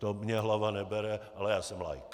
To mně hlava nebere, ale já jsem laik.